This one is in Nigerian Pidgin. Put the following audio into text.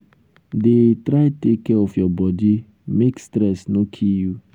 dey try take care of your body um make stress no um kill you.